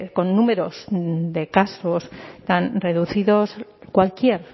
con números de casos tan reducidos cualquier